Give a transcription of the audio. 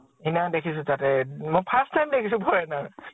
সিদিনাখন দেখিছো তাতে। মই first time দেখিছো foreigner|